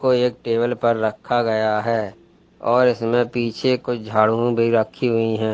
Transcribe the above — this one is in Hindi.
ये एक टेबल पर रखा गया है और इसमें पीछे कुछ झाड़ू भी रखी हुई है।